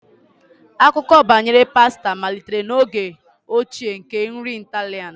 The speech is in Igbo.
Akụkọ banyere pasta malitere n'oge ochie nke nri Italian.